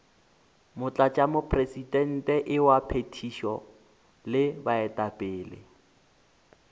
motlatšamopresidente wa phethišo le baetapele